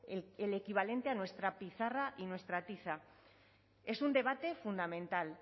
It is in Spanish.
el equivalente a nuestra pizarra y nuestra tiza es un debate fundamental